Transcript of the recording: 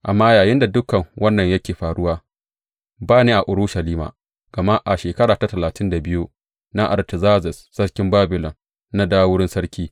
Amma yayinda dukan wannan yake faruwa, ba ni a Urushalima, gama a shekara ta talatin da biyu na Artazerzes sarkin Babilon na dawo wurin sarki.